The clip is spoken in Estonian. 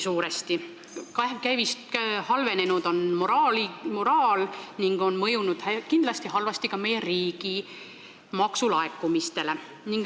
Inimeste moraal on halvenenud ning see on kindlasti halvasti mõjunud ka meie riigi maksulaekumistele.